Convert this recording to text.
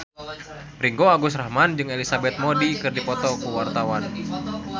Ringgo Agus Rahman jeung Elizabeth Moody keur dipoto ku wartawan